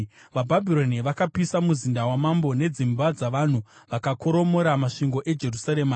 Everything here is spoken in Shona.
VaBhabhironi vakapisa muzinda wamambo nedzimba dzavanhu vakakoromora masvingo eJerusarema.